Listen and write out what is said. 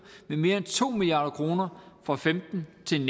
med mere end to milliard kroner og femten til